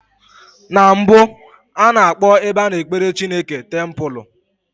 Na mbụ, a na-akpọ ebe a na-ekpere Chineke tempụlụ.